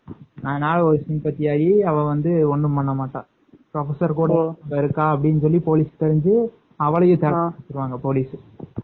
அதனால sympathy ஆகி அவ ஒன்னும் பண்ணமாட்டா professor குட அவ இருக்கானு தெரிஞ்சு அவளையும் போலிஸ்